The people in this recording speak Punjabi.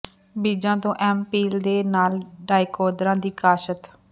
ਬੀਜਾਂ ਤੋਂ ਐਮ ਪੀਲ ਦੇ ਨਾਲ ਡਾਇਕੋਂਦਰਾ ਦੀ ਕਾਸ਼ਤ